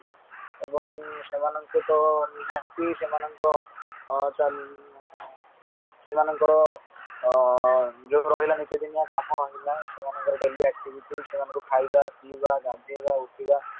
ଆଉ ସେମାନଙ୍କ ସହିତ ନିହାତି ସେମାନଙ୍କର ଚଳ ସେମାନଙ୍କର ଆଁ ଯୋଉ ରହିଲା ନିତିଦିନିଆ କାମ ରହିଲା ସେମାନଙ୍କ daily activities ସେମାନଙ୍କୁ ଖାଇବା ପିଇବା ଗଧେଇବା ଉଠିବା